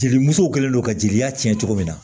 Jelimusow kɛlen don ka jelila tiɲɛ cogo min na